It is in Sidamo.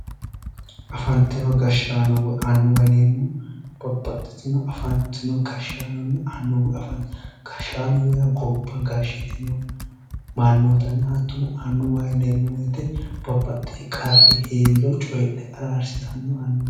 Afantino gashshaano woy annuwa yineemmohu babbaxxitino afantino gashshaanonna annuwu, gashshaano yaa gobba gashshitino mannoottanna hattono ,annuwa yineemmo woyte babbaxxewo qarri hee'riro coyiidhe araarsitannore annuwa.